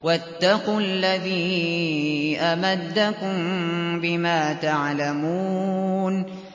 وَاتَّقُوا الَّذِي أَمَدَّكُم بِمَا تَعْلَمُونَ